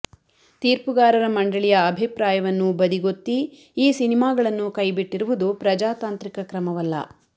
ತೀರ್ಪುಗಾರರ ಮಂಡಳಿಯ ಅಭಿಪ್ರಾಯವನ್ನು ಬದಿಗೊತ್ತಿ ಈ ಸಿನಿಮಾಗಳನ್ನು ಕೈಬಿಟ್ಟಿರುವುದು ಪ್ರಜಾತಾಂತ್ರಿಕ ಕ್ರಮವಲ್ಲ